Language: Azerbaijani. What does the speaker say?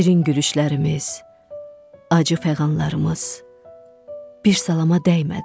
Şirin gülüşlərimiz, acı fəğanlarımız bir salama dəymədi.